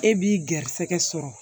E b'i garisɛgɛ sɔrɔ